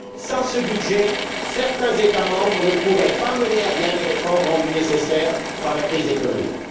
Sans ce budget, certains États membres ne pourraient pas mener à bien les réformes rendues nécessaires par la crise économique.